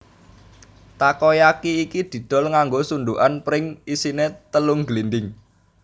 Takoyaki iki didol nganggo sundukan pring isine telung glindhing